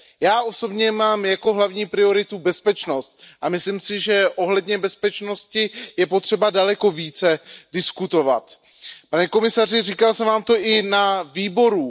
Já osobně mám jako hlavní prioritu bezpečnost a myslím si, že ohledně bezpečnosti je potřeba daleko více diskutovat. Pane komisaři, říkal jsem vám to i na výboru.